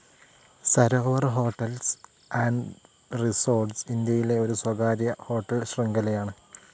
Sarovar hotels and റിസോർട്ടുകൾ ഇന്ത്യയിലെ ഒരു സ്വകാര്യ ഹോട്ടൽ ശൃംഖലയാണ്.